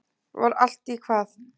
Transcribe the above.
Var allt í hvað?